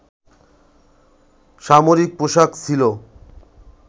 সামরিক পোশাক ছিল